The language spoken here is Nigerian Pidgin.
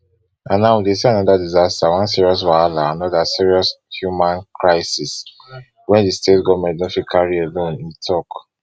and now we dey see anoda disaster one serious wahala anoda serious human crisis wey di state goment no fit carry alone e tok